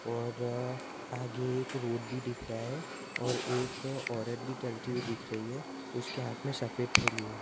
और आगे एक रोड भी दिख रहा है और एक औरत भी चलती हुई दिख रही है उसके हाथ में सफेद थैली है।